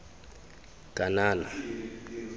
kanana